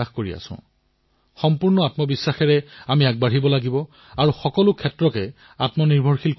ইয়াত আমি নিজৰ মাতৃভাষাত টেক্সট ভিডিঅ আৰু অডিঅৰ জৰিয়তে কথা পাতিব পাৰো